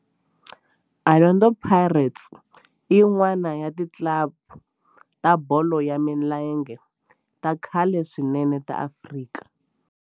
Orlando Pirates i yin'wana ya ti club ta bolo ya milenge ta khale swinene ta Afrika.